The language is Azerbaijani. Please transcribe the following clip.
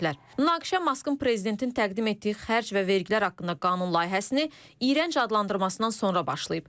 Münaqişə Maskın prezidentin təqdim etdiyi xərc və vergilər haqqında qanun layihəsini iyrənc adlandırmasından sonra başlayıb.